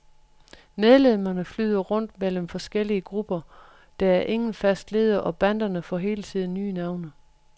Medlemmerne flyder rundt mellem forskellige grupper, der er ingen fast leder, og banderne får hele tiden nye navne.